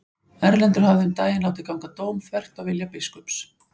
Erlendur hafði um daginn látið ganga dóm þvert á vilja biskups.